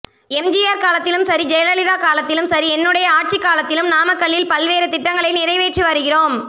எம்ஜிஆர் காலத்திலும் சரி ஜெயலலிதா காலத்திலும் சரி என்னுடைய ஆட்சிக்காலத்திலும் நாமக்கலில் பல்வேறு திட்டங்களை நிறைவேற்றி வருகிறோம்